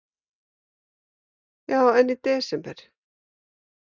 Heimir Már: Já, en í desember?